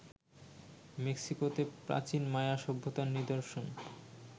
মেক্সিকোতে প্রাচীন মায়া সভ্যতার নিদর্শন